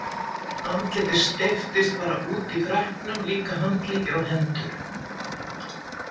Andlitið steyptist bara út í freknum, líka handleggir og hendur.